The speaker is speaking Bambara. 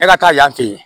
E ka taa yan fɛ yen